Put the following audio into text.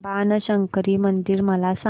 बाणशंकरी मंदिर मला सांग